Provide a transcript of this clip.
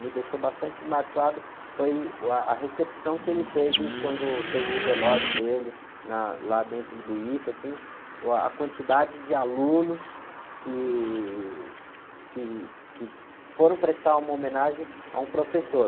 me deixou bastante marcado foi uh, a recepção que ele teve quando teve o velório dele na, lá dentro do ita, assim, uh, a quantidade de alunos que, que, que foram prestar uma homenagem a um professor.